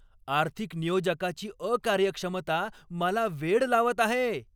आर्थिक नियोजकाची अकार्यक्षमता मला वेड लावत आहे!